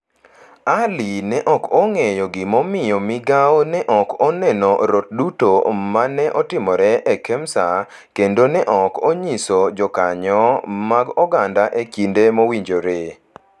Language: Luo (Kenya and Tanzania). Ali ne ok ong’eyo gimomiyo migao ne ok oneno rot duto ma ne otimore e Kemsa kendo ne ok onyiso jokanyo mag oganda e kinde mowinjore.